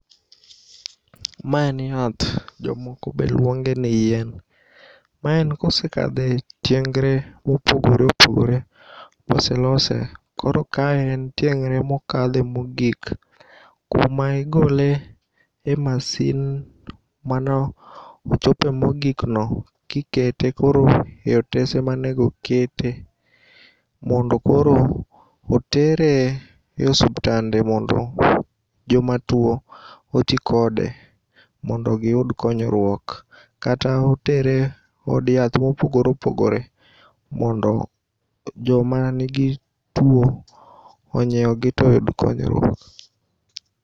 Ma en yath, jomoko be luongeni yien. Ma en kosekadhe tiengre mopogore opogore boselose koro ka en tieng're mokale mogik kuma igole e masin manochope mogikno kikete koro e otese manego okete mondo koro otere e osiptande mondo jomatuo otii kode mondo giyud konyruok kata otere od yath mopogore opogore mondo joma nigi tuo onyieugi toyud konyruok.